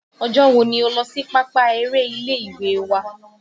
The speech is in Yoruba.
Ọjọ́ wo ni ó lọ́ sí pápá eré ilé ìwé wa?